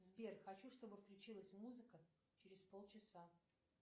сбер хочу чтобы включилась музыка через полчаса